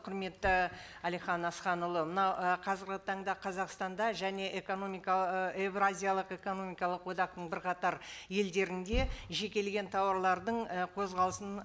құрметті әлихан асханұлы мынау і қазіргі таңда қазақстанда және экономика еуразиялық экономикалық одақтың бірқатар елдерінде жекелеген тауарлардың ы қозғалысын